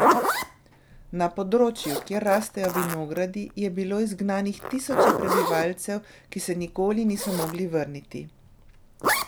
Na področju, kjer rastejo vinogradi, je bilo izgnanih tisoče prebivalcev, ki se nikoli niso mogli vrniti.